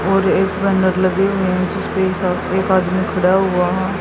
और एक एक आदमी खड़ा हुआ--